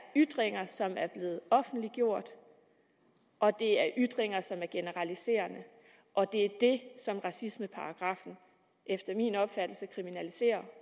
ytringer som er blevet offentliggjort og ytringer som er generaliserende og det er det som racismeparagraffen efter min opfattelse kriminaliserer